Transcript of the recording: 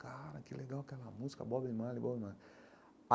Cara, que legal aquela música, Bob Marley, Bob Marley.